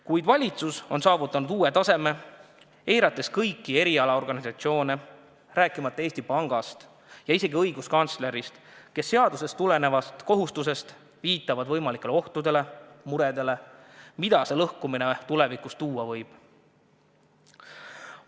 Kuid valitsus on saavutanud uue taseme, eirates kõiki erialaorganisatsioone, rääkimata Eesti Pangast ja isegi õiguskantslerist, kes seadusest tulenevast kohustusest viitavad võimalikele ohtudele, muredele, mida süsteemi lõhkumine tulevikus põhjustada võib.